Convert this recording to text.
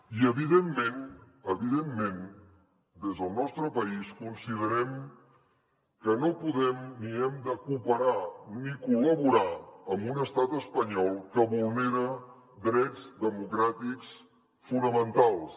i evidentment evidentment des del nostre país considerem que no podem ni hem de cooperar ni col·laborar amb un estat espanyol que vulnera drets democràtics fonamentals